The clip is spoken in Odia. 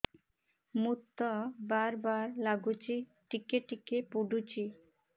ମୁତ ବାର୍ ବାର୍ ଲାଗୁଚି ଟିକେ ଟିକେ ପୁଡୁଚି